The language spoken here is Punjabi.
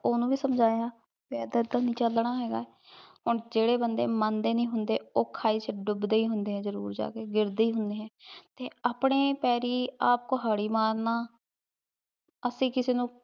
ਓਹਨੁ ਵੀ ਸਮਝਾਯਾ ਕੇ ਏਦਾਂ ਤਾਂ ਨਹੀ ਚਲਨਾ ਹੇਗਾ ਹਨ ਜੇਰੇ ਬੰਦੇ ਮੰਡੇ ਨਹੀ ਹੁੰਦੇ ਊ ਖਾਈ ਚ ਡੁਬਦੇ ਈ ਹੁੰਦੇ ਜ਼ਰੁਰ ਜਾ ਕੇ ਗਿਰਦੇ ਈ ਹੁਣੇ ਹੈਂ ਤੇ ਅਪਨੇ ਪਾਰੀ ਆਪ ਕੁਹਾਰੀ ਮਾਰਨਾ ਅਸੀਂ ਕਿਸੇ ਨੂ